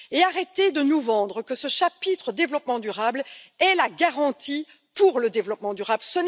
Arrêtez de nous vendre que ce chapitre développement durable est une garantie pour le développement durable